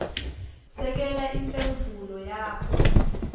sekela imphendvulo yakho